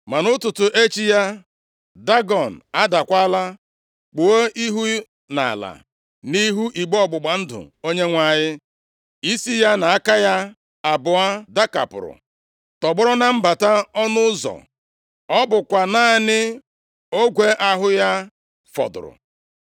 Ma nʼụtụtụ echi ya, Dagọn adakwala kpuo ihu nʼala nʼihu igbe ọgbụgba ndụ Onyenwe anyị. Isi ya na aka ya abụọ dakapụrụ, tọgbọrọ na mbata ọnụ ụzọ, Ọ bụkwa naanị ogwe ahụ ya fọdụrụ.